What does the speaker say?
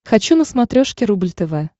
хочу на смотрешке рубль тв